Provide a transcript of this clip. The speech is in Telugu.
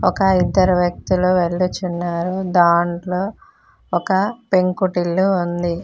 ఇంకా ఇద్దరు వ్యక్తులు వెళ్లుచున్నారు దాంట్లో ఒక పెంకుటిల్లు ఉంది.